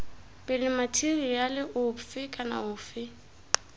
pele matheriale ofe kana ofe